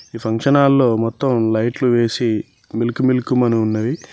ఈ function hall లో మొత్తం లైట్లు వేసి మిళుకు మిళుకు మని ఉన్నది.